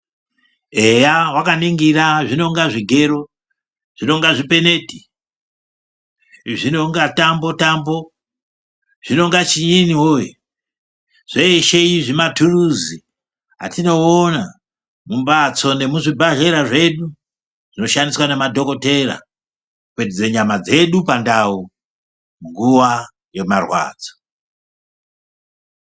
Eya wakaningira zvinonga zvigero, zvinonga zvipeneti, zvinonga tambo-tambo, zvinonga chiyini woye, zveshe izvi matuluzi, atinoona mumbatso nekuzvibhedhlera zvedu, zvinoshandiswa nemadhokodhera kupetudze nyama dzedu pandau, nguwa yemarwadzo.